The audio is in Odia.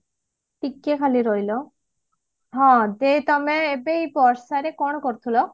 ଟିକେ ଖାଲି ରହିଲ ହଁ ଯେ ତମେ ଏ ବର୍ଷାରେ କଣ କରୁଥିଲ